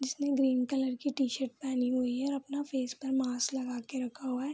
जिसने green colour की t-shirt पहनी हुई है अपना फेस पर मास्क लगा के रखा हुआ है।